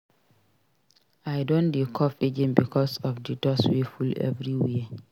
I don dey cough again because of di dust wey full everywhere.